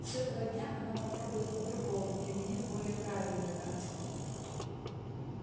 с этого дня она попробует по-другому применит более правильную тактику